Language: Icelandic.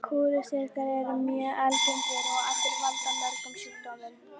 Kúlusýklar eru mjög algengir og valda mörgum sjúkdómum.